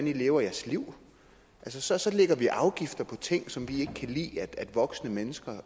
leve deres liv så så lægger vi afgifter på ting som vi ikke kan lide at voksne mennesker